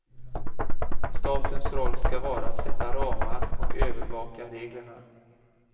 Statens roll ska vara att sätta ramar och övervaka reglerna.